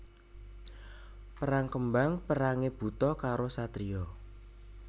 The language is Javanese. Perang kembang perangé buta karo satriya